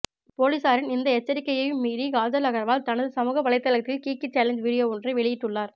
பொலிஸாரின் இந்த எச்சரிக்கையையும் மீறி காஜல் அகர்வால் தனது சமூக வலைத்தளத்தில் கிகி சேலஞ்ச் வீடியோ ஒன்றை வெளியிட்டுள்ளார்